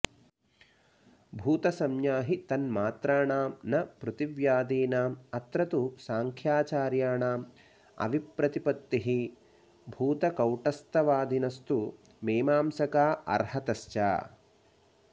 भूतसंज्ञा हि तन्मात्राणां न पृथिव्यादीनामत्र तु सांख्याचार्याणामविप्रतिपत्तिः भूतकौटस्थ्यवादिनस्तु मीमांसका आर्हताश्च